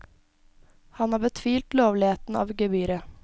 Han har betvilt lovligheten av gebyret.